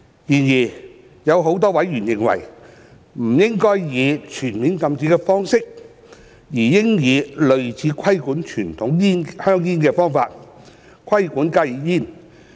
然而，有多名委員認為，不應以全面禁止的方式，而應以類似規管傳統香煙的方法，規管加熱煙。